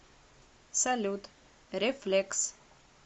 салют рефлекс